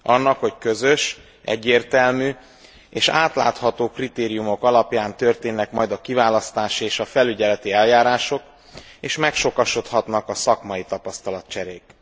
Annak, hogy közös, egyértelmű és átlátható kritériumok alapján történnek majd a kiválasztási és a felügyeleti eljárások, és megsokasodhatnak a szakmai tapasztalatcserék.